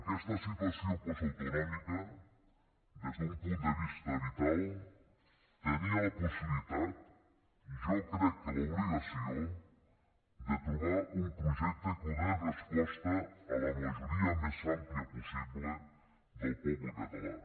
aquesta situació postautonòmica des d’un punt de vista vital tenia la possibilitat i jo crec que l’obligació de trobar un projecte que donés resposta a la majoria més àmplia possible del poble català